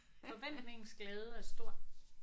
Forventningens glæde er stor